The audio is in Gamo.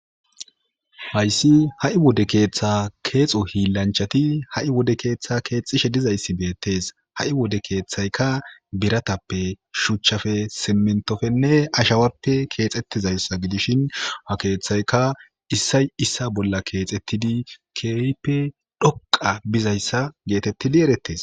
Hayssi ha'i wode keeththa keexo hiillanchati ha'i wode keeththa keexxishe dizayssi beettees ha'i wode keeththayka biratappe shuchchafe simentofenne ashawarpe keexettizayssa gidishin hakeeththayka issay issa bolla keexettidi keeyippe dhoqa bizayssa geetettidi erettes.